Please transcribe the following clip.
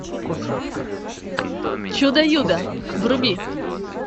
чудо юдо вруби